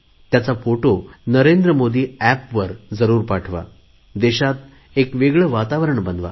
त्याचा फोटो नरेंद्र मोदी एपवर जरुर पाठवा देशात एक वेगळे वातावरण बनवा